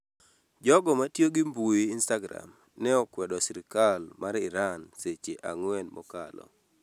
Jogo matiyo gi mbui instagram ne okwedo sirikal mar Iran seche ang'wen mokalo